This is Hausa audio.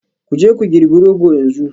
Ku je ku girbi Rogo yanzu